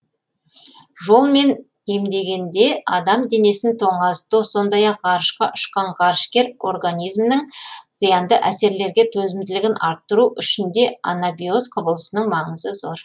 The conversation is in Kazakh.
жолмен емдегенде адам денесін тоңазыту сондай ақ ғарышқа ұшқан ғарышкер организмінің зиянды әсерлерге төзімділігін арттыру үшін де анабиоз құбылысының маңызы зор